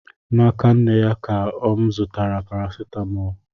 N'aka nne ya ka m zụtara parasetamọlụ